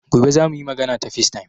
Gobe za mu yi magana ta facetime.